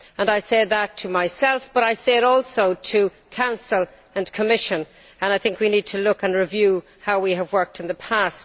I say that to myself, but I say it also to the Council and the Commission, and I think we need to examine and review how we have worked in the past.